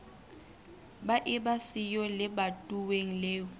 ba eba siyo lebatoweng leo